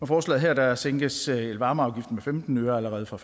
forslaget her sænkes elvarmeafgiften med femten øre allerede fra